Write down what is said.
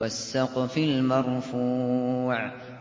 وَالسَّقْفِ الْمَرْفُوعِ